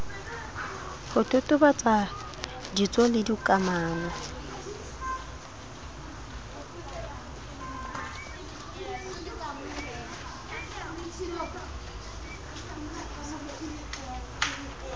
ho totobatsa ditso le dikamano